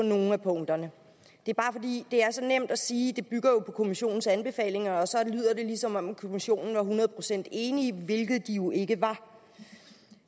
nogle af punkterne det er bare fordi det er så nemt at sige at det bygger på kommissionens anbefalinger og så lyder det som om de i kommissionen var hundrede procent enige hvilket de jo ikke var